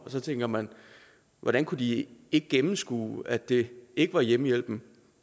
så tænker man hvordan kunne de ikke gennemskue at det ikke var hjemmehjælperen